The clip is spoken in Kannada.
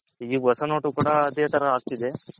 ಈಗ್ ಹೊಸ note ಕೂಡ ಅದೆ ತರ ಆಗ್ತಿದೆ.